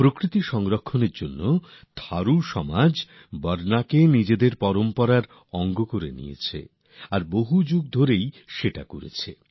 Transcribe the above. প্রকৃতির সুরক্ষায় থারু সমাজ বর্ণাকে নিজেদের ঐতিহ্যের অংশ করে তুলেছেন এবং তা বহু শতাব্দী ধরে চলে আসছে